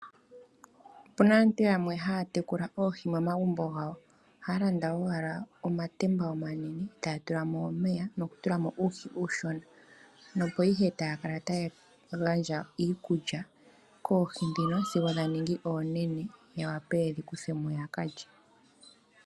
Opuna aantu yamwe haya tekula oohi momagumbo gawo, ohaya landa wala omatemba omanene, eta ya tulamo omeya noku tulamo uuhi uushona, opo ihe taya kala taya gandja iikulya koohi dhino sigo dha ningi oonene, ya wape yedhi kuthemo ya kalye.